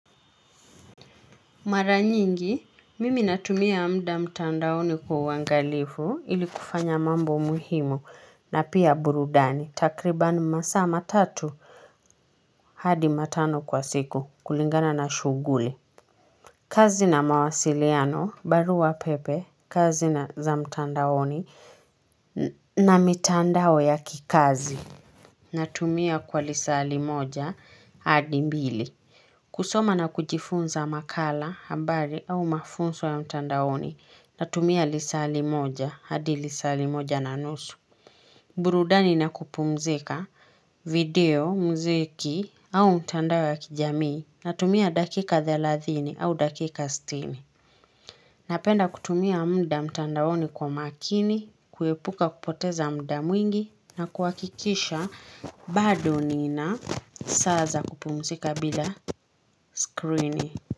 Mara nyingi, mimi natumia muda mtandaoni kwa uangalifu ili kufanya mambo muhimu na pia burudani. Takribani masaa matatu hadi matano kwa siku kulingana na shughuli. Kazi na mawasiliano, barua pepe, kazi za mtandaoni na mitandao ya kikazi. Natumia kwa lisali moja hadi mbili. Kusoma na kujifunza makala, habari au mafunzo ya mtandaoni natumia lisali moja, hadi lisali moja na nosu. Burudani na kupumzika video, muziki au mtandao wa kijamii natumia dakika thelathini au dakika sitini. Napenda kutumia muda mtandaoni kwa makini, kuepuka kupoteza muda mwingi na kuhakikisha bado nina saa za kupumzika bila skrini.